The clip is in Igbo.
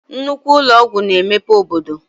Nnukwu ụnọ ọgwụ na-emepe obodo.